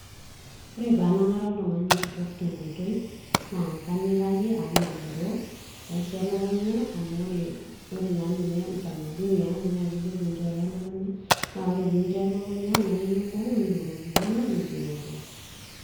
Ore paanang'are oltung'ani kitok te nkoitoi naa kanyikaki amu magiroo naisho elukunya amu ore naa ninye utamaduni aang naa kejo pinchooyo elukunya na ore pinchooyo elukunya na ekimb'ung'i nirorokinono nigiroro.